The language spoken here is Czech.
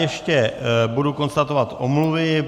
Ještě budu konstatovat omluvy.